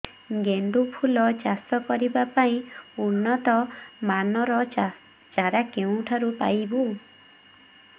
ଗେଣ୍ଡୁ ଫୁଲ ଚାଷ କରିବା ପାଇଁ ଉନ୍ନତ ମାନର ଚାରା କେଉଁଠାରୁ ପାଇବୁ